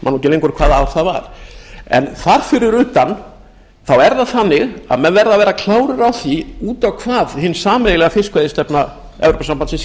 lengur hvaða ár það var en þar fyrir utan er það þannig að menn verða að vera klárir á því út á hvað hin sameiginlega fiskveiðistefna evrópusambandsins